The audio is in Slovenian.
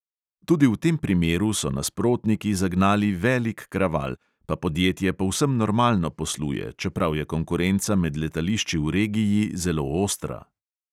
Tudi v tem primeru so nasprotniki zagnali velik kraval, pa podjetje povsem normalno posluje, čeprav je konkurenca med letališči v regiji zelo ostra.